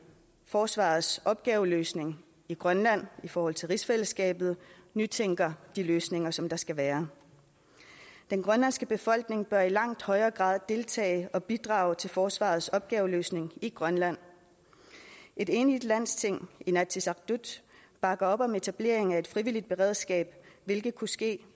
forsvarets opgaveløsning i grønland i forhold til rigsfællesskabet nytænker de løsninger som der skal være den grønlandske befolkning bør i langt højere grad deltage og bidrage til forsvarets opgaveløsning i grønland et enigt landsting inatsisartut bakker op om etablering af et frivilligt beredskab hvilket kunne ske